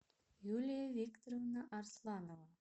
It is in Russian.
юлия викторовна арсланова